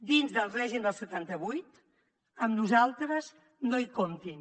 dins del règim del setanta vuit amb nosaltres no hi comptin